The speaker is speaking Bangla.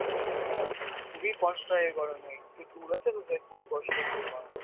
হ্যাঁ খুবই কষ্ট হয় এই গরমে একটু দূর আছে তো খুবই কষ্ট হচ্ছে এই গরমে